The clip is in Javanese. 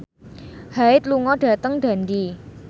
Hyde lunga dhateng Dundee